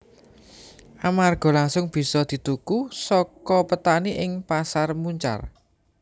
Amarga langsung bisa dituku saka petani ing Pasar Muncar